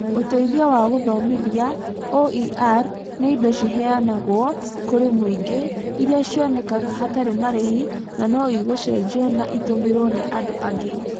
Ũteithio wa Gũthomithia (OER) nĩ indo ciheanagwo kũrĩ mũingĩ, iria cionekaga hatarĩ marĩhi na no igũcenjio na itũmĩrwo nĩ andũ angĩ.